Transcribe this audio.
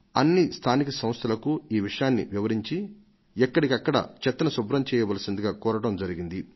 అన్ని స్థానిక సంస్థలకు ఈ విషయాన్ని వివరించి ఎక్కడికక్కడ చెత్తను శుభ్రం చేయవలసిందిగా కోరడం జరిగింది